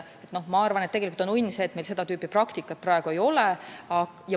Ma arvan, et on õnn, et meil seda tüüpi praktikat praegu ei ole.